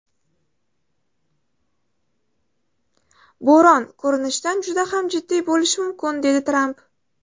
Bo‘ron, ko‘rinishidan, juda ham jiddiy bo‘lishi mumkin”, dedi Tramp.